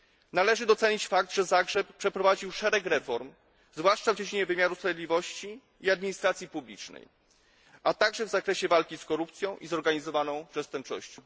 Należy docenić fakt, że Zagrzeb przeprowadził szereg reform, zwłaszcza w dziedzinie wymiaru sprawiedliwości i administracji publicznej, a także w zakresie walki z korupcją i zorganizowaną przestępczością.